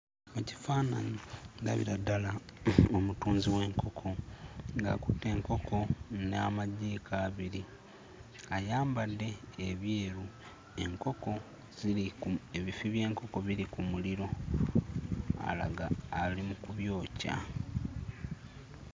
Mu kifaananyi ndabira ddala omutunzi w'enkoko ng'akutte enkoko n'amajiiko abiri ayambadde ebyeru enkoko ziri ku ebifi by'enkoko biri ku muliro alaga ali mu kubyokya.